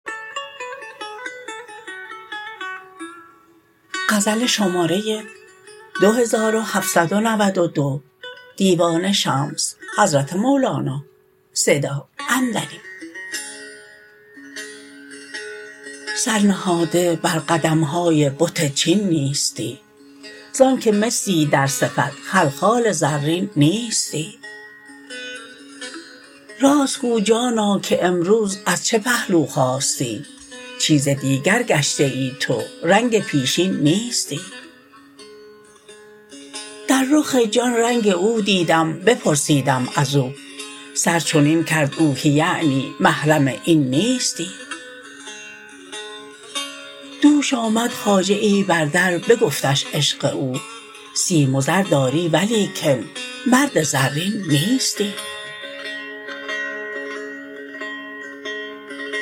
سر نهاده بر قدم های بت چین نیستی ز آنک مسی در صفت خلخال زرین نیستی راست گو جانا که امروز از چه پهلو خاستی چیز دیگر گشته ای تو رنگ پیشین نیستی در رخ جان رنگ او دیدم بپرسیدم از او سر چنین کرد او که یعنی محرم این نیستی دوش آمد خواجه ای بر در بگفتش عشق او سیم و زر داری ولیکن مرد زرین نیستی